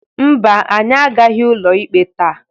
Mba, anyị agaghị ụlọ ikpe taa.